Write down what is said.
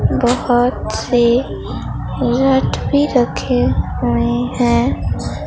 बहुत से लट भी रखे हुए हैं।